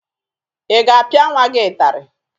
Ị ga-apịa nwa gị ịtarị?